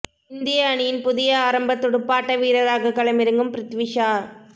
இந்திய அணியின் புதிய ஆரம்ப துடுப்பாட்ட வீரராக களமிறங்கும் பிரித்வி ஷா